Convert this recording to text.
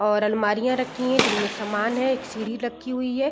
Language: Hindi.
और अलमारियाँ रखी हैं जिनमे समान है | एक सीढ़ी रखी हुई है |